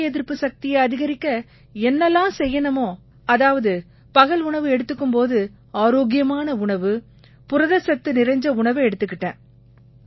நோய் எதிர்ப்பு சக்தியை அதிகரிக்க என்னவெல்லாம் செய்யணுமோ அதாவது பகல் உணவு எடுத்துக்கும் போது ஆரோக்கியமான உணவு புரதச்சத்து நிறைஞ்ச உணவை எடுத்துக்கிட்டேன்